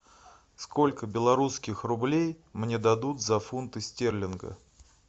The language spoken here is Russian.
сколько белорусских рублей мне дадут за фунты стерлинга